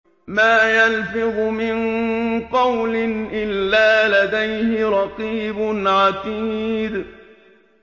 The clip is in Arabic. مَّا يَلْفِظُ مِن قَوْلٍ إِلَّا لَدَيْهِ رَقِيبٌ عَتِيدٌ